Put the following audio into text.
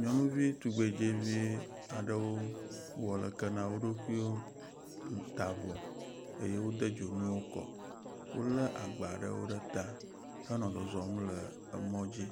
Nyɔnuvi tugbedzevi aɖewo wowɔ leke na wo ɖokuiwo. Wota avɔ eye wode dzonuwo kɔ. Wo le agba ɖewo ɖe ta henɔ zɔzɔm le emɔ dzi